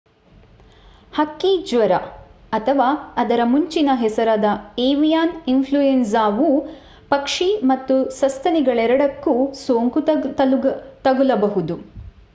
ಹಕ್ಕಿ ಜ್ವರ ಅಥವಾ ಅದರ ಮುಂಚಿನ ಹೆಸರಾದ ಏವಿಯಾನ್ ಇಂಫ್ಲೂಯಂಜಾ ವು ಪಕ್ಷಿ ಮತ್ತು ಸಸ್ತನಿಗಳೆರಡಕ್ಕೂ ಸೋಂಕು ತಗುಲಬಹುದು